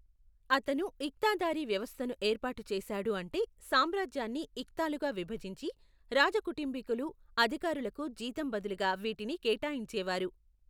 అతను ఇక్తాదారీ వ్యవస్థను ఏర్పాటు చేశాడు అంటే సామ్రాజ్యాన్ని ఇక్తాలుగా విభజించి, రాజకుటుంబీకులు, అధికారులకు జీతం బదులుగా వీటిని కేటాయించేవారు.